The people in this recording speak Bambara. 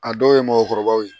A dɔw ye mɔɔkɔrɔbaw ye